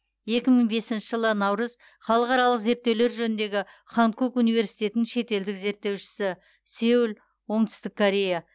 екі мың бесінші жылы наурыз халықаралық зерттеулер жөніндегі ханкук университетінің шетелдік зерттеушісі сеул оңтүстік корея